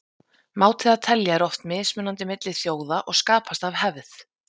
Máti að telja er oft mismunandi milli þjóða og skapast af hefð.